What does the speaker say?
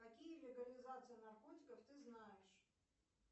какие легализации наркотиков ты знаешь